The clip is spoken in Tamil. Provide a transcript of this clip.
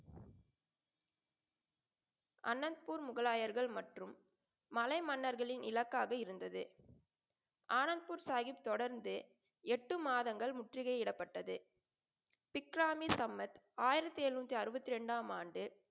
அனந்த்பூர் முகலாயர்கள் மற்றும் மலை மன்னர்களின் இலக்காக இருந்தது. ஆனந்பூர் சாஹிப் தொடர்ந்து எட்டு மாதங்கள் முற்றுகையிடப்பட்டது. சிற்றாமின் சமத் ஆயிரத்தி எழுநூத்தி அறுபத்தி இரண்டு ஆம் ஆண்டு,